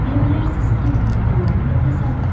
Deyə bilərsiniz ki, bu tamamilə təsadüfdür.